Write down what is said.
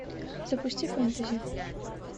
запусти фэнтези